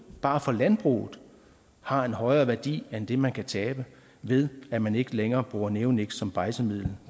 bare for landbruget har en højere værdi end det man kan tabe ved at man ikke længere bruger neoniks som bejdsemiddel